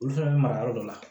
Olu fɛnɛ bɛ mara yɔrɔ dɔ la